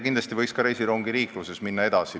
Kindlasti võiks ka reisirongiliiklusega edasi minna.